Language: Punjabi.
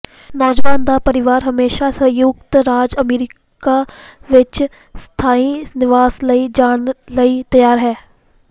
ਨੌਜਵਾਨ ਦਾ ਪਰਿਵਾਰ ਹਮੇਸ਼ਾ ਸੰਯੁਕਤ ਰਾਜ ਅਮਰੀਕਾ ਵਿੱਚ ਸਥਾਈ ਨਿਵਾਸ ਲਈ ਜਾਣ ਲਈ ਤਿਆਰ ਹੈ